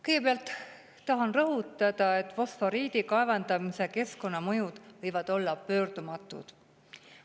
Kõigepealt tahan rõhutada, et fosforiidi kaevandamise keskkonnamõjud võivad olla pöördumatud.